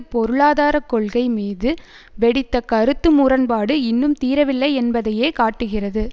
பொருளாதார கொள்கை மீது வெடித்த கருத்து முரண்பாடு இன்னும் தீரவில்லை என்பதையே காட்டுகிறது